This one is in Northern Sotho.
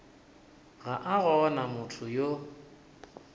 ga a gona motho yo